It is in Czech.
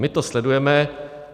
My to sledujeme.